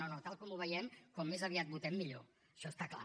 no no tal com ho veiem com més aviat votem millor això està clar